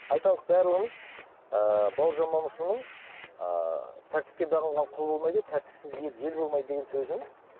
айталық барлығымыз ыыы бауыржан момышұлының ы тәртіпке бағынған құл болмайды тәртіпсіз ел ел болмайды деген сөзін